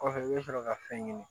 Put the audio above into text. Kɔfɛ i bɛ sɔrɔ ka fɛn ɲini